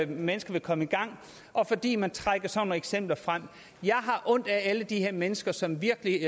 mennesker vil komme i gang og fordi man trækker sådan nogle eksempler frem jeg har ondt af alle de her mennesker som virkelig